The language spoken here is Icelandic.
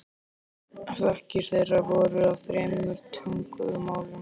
Þakkir þeirra voru á þremur tungumálum.